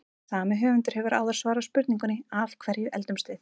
Sami höfundur hefur áður svarað spurningunni Af hverju eldumst við?